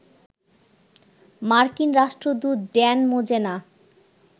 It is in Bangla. মার্কিন রাষ্ট্রদূত ড্যান মোজেনা